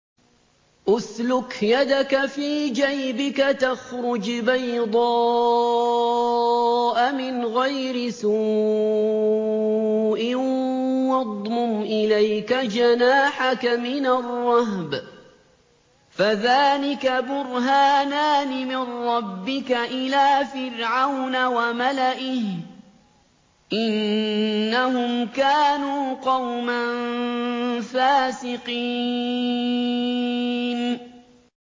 اسْلُكْ يَدَكَ فِي جَيْبِكَ تَخْرُجْ بَيْضَاءَ مِنْ غَيْرِ سُوءٍ وَاضْمُمْ إِلَيْكَ جَنَاحَكَ مِنَ الرَّهْبِ ۖ فَذَانِكَ بُرْهَانَانِ مِن رَّبِّكَ إِلَىٰ فِرْعَوْنَ وَمَلَئِهِ ۚ إِنَّهُمْ كَانُوا قَوْمًا فَاسِقِينَ